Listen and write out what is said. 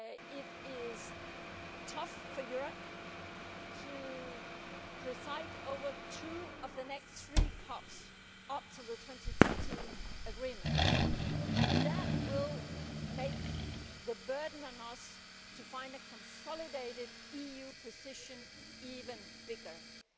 It will be tough for Europe to preside over two of the next three COPs up to the 2015 agreement and that will make the burden on us to find a consolidated EU position even heavier.